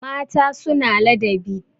mata suna ladabi